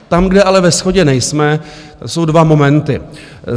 Tam, kde ale ve shodě nejsme, jsou dva momenty.